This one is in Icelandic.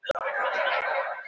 Leirlist og menning